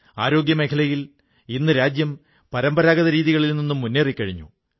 ആരോഗ്യമേഖലയിൽ ഇന്ന് രാജ്യം പരമ്പരാഗത രീതികളിൽ നിന്ന് മുന്നേറിക്കഴിഞ്ഞു